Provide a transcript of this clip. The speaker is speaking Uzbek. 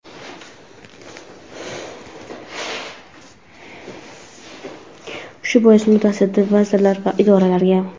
Shu bois mutassaddi vazirlik va idoralarga:.